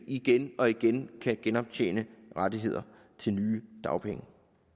igen og igen kan genoptjene rettigheder til nye dagpenge